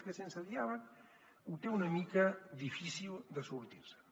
és que sense diàleg ho té una mica difícil de sortir se’n